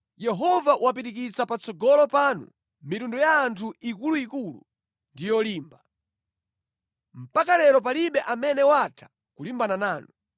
“Yehova wapirikitsa patsogolo panu mitundu ya anthu ikuluikulu ndi yolimba. Mpaka lero palibe amene watha kulimbana nanu.